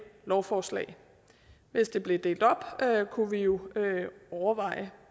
lovforslag hvis det blev delt op kunne vi jo overveje